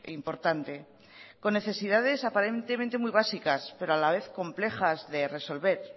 importante con necesidades aparentemente muy básicas pero a la vez complejas de resolver